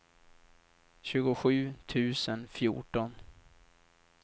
tjugosju tusen fjorton